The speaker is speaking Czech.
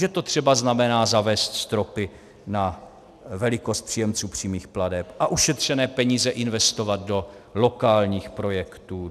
Že to třeba znamená zavést stropy na velikost příjemců přímých plateb a ušetřené peníze investovat do lokálních projektů.